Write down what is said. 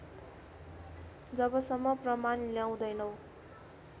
जबसम्म प्रमाण ल्याउँदैनौ